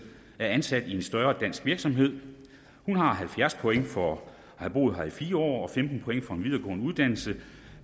er ansat i en større dansk virksomhed hun har halvfjerds point for at have boet her i fire år og femten point for en videregående uddannelse